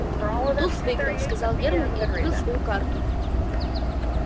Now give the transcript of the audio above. туз выиграл сказал германн и открыл свою карту